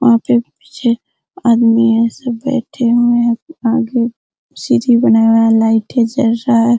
वहां पे पीछे आदमी ऐसे बैठे हुए है आगे सीढ़ी बनाया हुआ है लाइटे जल रहा है।